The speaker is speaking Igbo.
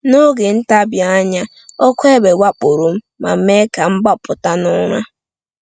N’oge ntabi anya, ọkụ egbe wakporo m ma mee ka m gbapụta n’ụra.